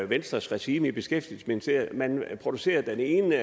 venstres regime i beskæftigelsesministeriet man producerede den ene